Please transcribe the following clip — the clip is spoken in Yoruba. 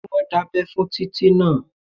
Ṣé wọ́n dábẹ́ fún Títí náà?